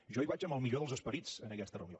jo hi vaig amb el millor dels esperits a aquesta reunió